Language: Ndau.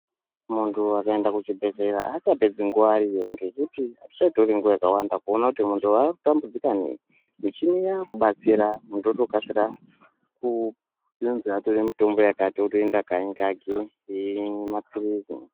Muntu wakaenda ku chibhedhleya acha pedzi nguva ariyo ngekuti azvicha tori nguva yakawanda kuona kuti muntu wa tambudzika nei michini yaku batsira muntu woto kasira kunonzi atore mutombo yakati otoenda kanyi kake eyimwe mapilizi.